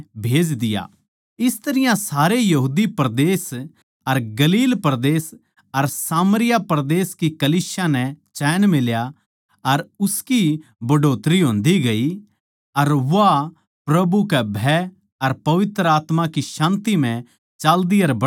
इस तरियां सारे यहूदा परदेस अर गलील परदेस अर सामरिया परदेस की कलीसिया नै चैन मिल्या अर उसकी बढ़ोतरी होन्दी गई अर वा प्रभु कै भय अर पवित्र आत्मा की शान्ति म्ह चाल्दी अर बढ़दी गई